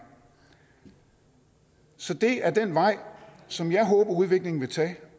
så det er den vej som jeg håber at udviklingen